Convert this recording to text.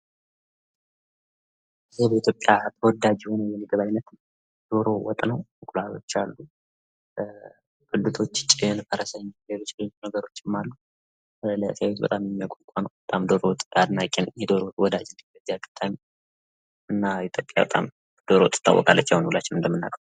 በኢትዮጵያ ተወዳጅ የሆነው የዶሮ ወጥ ነው። ጭን ፣ ፈረሰኛ ፣ እንቁላሎ ይታያሉ። በጣም ተወዳጅና ታዋቂ የምግብ አይነት ነው።